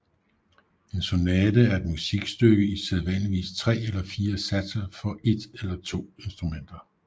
En sonate er et musikstykke i sædvanligvis 3 eller 4 satser for et eller to instrumenter